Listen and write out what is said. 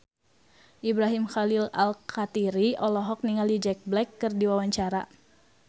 Ibrahim Khalil Alkatiri olohok ningali Jack Black keur diwawancara